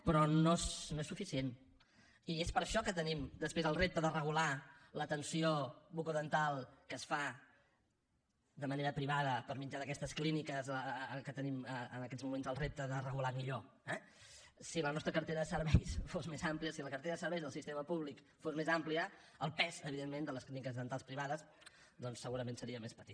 però no és suficient i és per això que tenim després el repte de regular l’atenció bucodental que es fa de manera privada per mitjà d’aquestes clíniques que tenim en aquests moments el repte de regular millor eh si la nostra cartera de serveis fos més àmplia si la cartera de serveis del sistema públic fos més àmplia el pes evidentment de les clíniques dentals privades doncs segurament seria més petit